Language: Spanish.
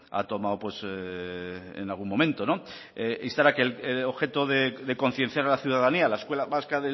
ha tomado en algún momento instar a que el objeto de concienciar a la ciudadanía la escuela vasca